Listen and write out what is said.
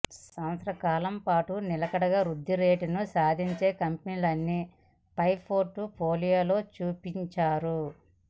సంవత్సర కాలం పాటు నిలకడగా వృద్ధి రేటును సాధించే కంపెనీలనే పై పోర్ట్ ఫోలియోలో చూపించారు